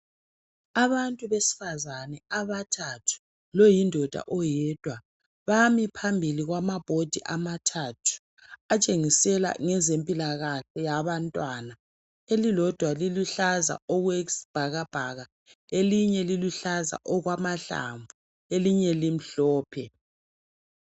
Abantu besifazane abathathu loyindoda oyedwa. Bami phambi kwamabhodi elitshengisela ngezempilakahle yabantwana. Elilodwa liluhlaza okwesibhakabhaka elinye liluhlaza okwamahlamvu elinye limhlophe.